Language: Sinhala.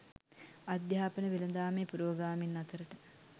අධ්‍යාපන වෙළඳාමේ පුරෝගාමින් අතරට